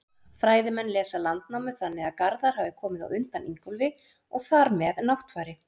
Fræðimenn lesa Landnámu þannig að Garðar hafi komið á undan Ingólfi og þar með Náttfari.